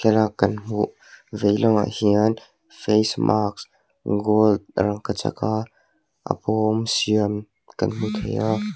kan hmuh vei lam ah hian face mask gold rangkachak a a bawm siam kan hmu thei a.